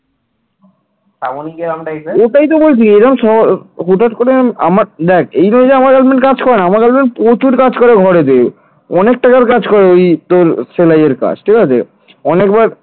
অনেক টাকার কাজ করে ওই তোর সেলাইয়ের কাজ ঠিক আছে অনেকবার,